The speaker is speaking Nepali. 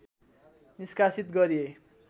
निष्कासित गरिए